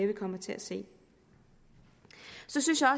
vi kommer til at se så synes jeg